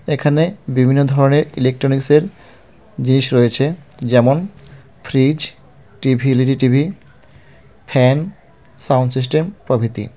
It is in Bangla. এখানে বিভিন্ন ধরনের ইলেকট্রনিক্সের জিনিস রয়েছে যেমন fridge TV LED TV fan sound system প্রভৃতি.